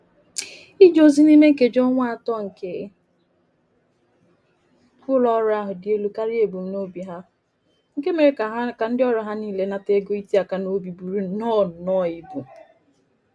Ije ozi niime nkeji ọnwa atọ nke ụlo-ọru ahụ dị elu karịa ebum n'obi ha, nke mèrè kà ndị ọrụ ha niile nata ego iti aka n'obi búrú nnọ nnọ ịbụ.